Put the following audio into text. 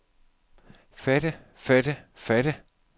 fatte fatte fatte